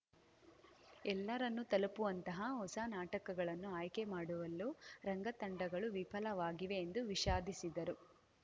ಎಲ್ಲರನ್ನೂ ತಲುಪುವಂತಹ ಹೊಸ ನಾಟಕಗಳನ್ನು ಆಯ್ಕೆ ಮಾಡುವಲ್ಲೂ ರಂಗ ತಂಡಗಳೂ ವಿಫಲವಾಗಿವೆ ಎಂದು ವಿಷಾದಿಸಿದರು